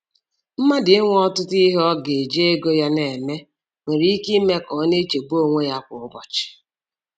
Mmadụ inwe ọtụtụ ihe ọ ga-eji ego ya na-eme nwere ike ime ka ọ na-echegbu onwe ya kwa ụbọchị.